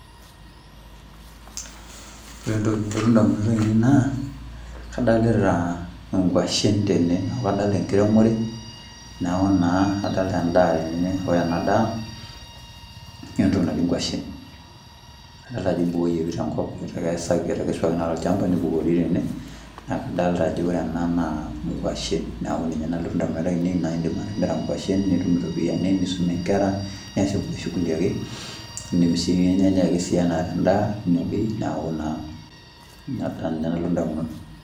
Ore entoki nalotu ndamunot ainei naa adolita nkwashen tene, neeku adolita enkiremore, neeku naa adolita endaa tene ore ena daa naa entoki naji nkwashen. Adolta ajoibukoyieki te nkop etekesa etekesuaki naa tolchamba nibukori tene adolta ajo ore ena naa nkwashen. Neeku ninye nalotu ndamunot ainei naa indim atimira nkwashen nitum iropiani nisumie nkera, niasie nkulie shughuli ake indim sii ninyanya ake sii ena endaa, neeku naa ninye nalotu ndamunot.